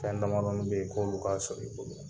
Fɛn damadɔnin bɛ yen k'olu ka sɔrɔ i bolo